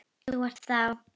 Þú ert þá.?